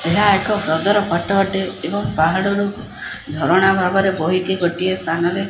ଏହା ଏକ ହ୍ରଦ ର ଫଟୋ ଅଟେ ଏବଂ ପାହାଡ଼ରୁ ଝରଣା ଭାବରେ ବୋହିକି ଗୋଟିଏ ସ୍ଥାନ ରେ --